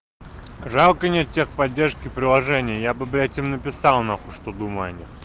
жалко нет тех поддержки приложения я бы блять им написал нахуй что думаю о них